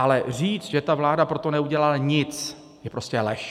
Ale říct, že vláda pro to neudělala nic, je prostě lež.